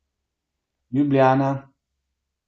Ljubljana.